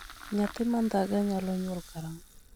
Nyathi ma ndhaga nyalo nyuol karang'o?